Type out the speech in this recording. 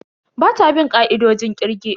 Bata bin ka'idojin kirge.